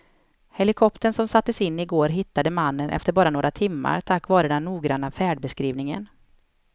Helikoptern som sattes in i går hittade mannen efter bara några timmar tack vare den noggranna färdbeskrivningen.